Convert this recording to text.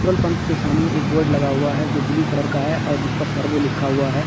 Petrol pump के सामने एक बोर्ड लगा हुआ है जो ब्लू कलर का है और जिस पर सर्वो लिखा हुआ है।